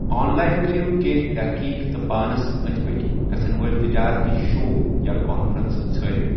On line کٔرِو کینٛہہ تحقیٖق تہٕ پانس أند ۍ پٔکۍ گژھن وٲلۍ تجارتی شو یا کانفرنسہٕ ژھارِو۔